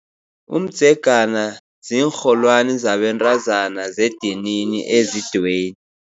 Umdzegana ziinrholwani zabentazana zedinini ezidweyini.